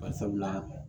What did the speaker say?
Bari sabu la